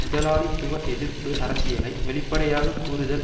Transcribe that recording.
முதலாளித்துவஎதிர்ப்பு அரசியலை வெளிப்படையாக கூறுதல்